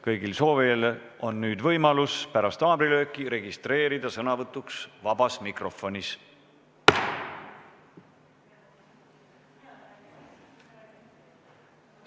Kõigil soovijail on võimalus pärast haamrilööki registreeruda sõnavõtuks vabas mikrofonis.